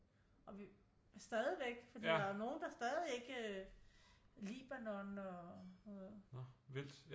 Og vi stadigvæk fordi der nogle der stadig ikke øh Libanon og